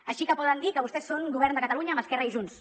així que poden dir que vostès són govern de catalunya amb esquerra i junts